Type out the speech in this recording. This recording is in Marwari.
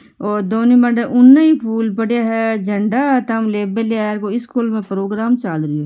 और दोनों माडे उनई फूल पड़ा है झंडा ले मेल्या है इस स्कूल मा प्रोग्राम चालरो है।